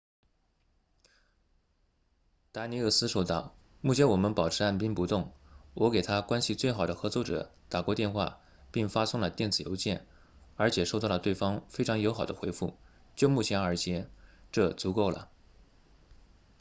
达尼厄斯说道目前我们保持按兵不动我给他关系最好的合作者打过电话并发送了电子邮件而且收到了对方非常友好的回复就目前而言这足够了